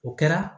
O kɛra